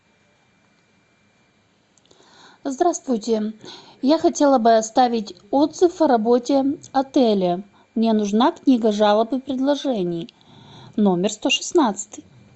здравствуйте я хотела бы оставить отзыв о работе отеля мне нужна книга жалоб и предложений номер сто шестнадцать